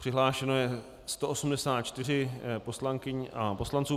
Přihlášeno je 184 poslankyň a poslanců.